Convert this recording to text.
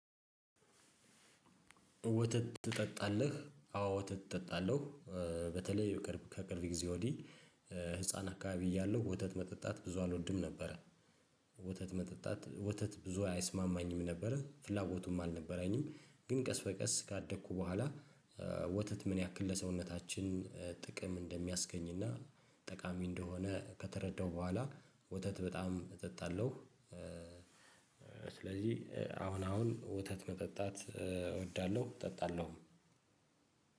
ወተት ትጠጣለህ? አዎ ወተት እጠጣለሁ በተለይ ከቅርብ ጊዜ ወዲህ ህፃን አካባቢ እያለሁ ወተት መጠጣት ብዙ አልወድም ነበረ። ወተት መጠጣት ወተት ብዙ አይስማማኝም ነበረ ፍላጎቱም አልነበረኝም። ግን ቀስ በቀስ ካደግኩ በኋላ። ወተት ምን ያክል ለሰውነታችን ጥቅም እንደሚያስገኝና ጠቃሚ እንደሆነ ከተረዳው በኋላ ወተት በጣም እጠጣለሁ። ስለዚህ አሁን አሁን ወተት መጠጣት እወዳለሁ እጠጣለሁ።